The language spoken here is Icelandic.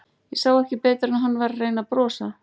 Ég sá ekki betur en að hann væri að reyna að brosa.